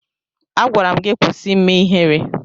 Agwara m gị kwụsị ime ihere!